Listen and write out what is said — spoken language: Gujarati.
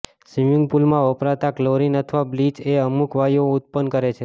સ્વીમીંગ પુલમાં વપરાતા ક્લોરીન અથવા બ્લીચ એ અમુક વાયુઓ ઉત્પન્ન કરે છે